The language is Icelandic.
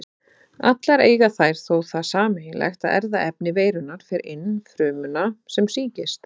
Allar eiga þær þó það sameiginlegt að erfðaefni veirunnar fer inn frumuna sem sýkist.